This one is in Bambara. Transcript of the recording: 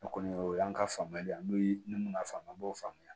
O kɔni o y'an ka faamuyali n'o ye ne mun y'a faamuya n b'o faamuya